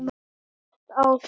Það sést á þér